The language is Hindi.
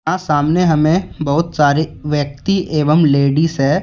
सामने हमें बहुत सारे व्यक्ति एवं लेडीज है।